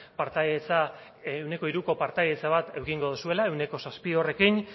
partaidetza ehuneko hiruko partaidetza bat edukiko zuela ehuneko zazpi horrekin